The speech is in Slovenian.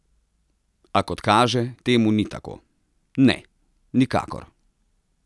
A, kot kaže, temu ni tako: 'Ne, nikakor.